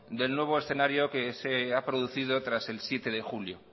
del nuevo escenario que se ha producido tras el siete de julio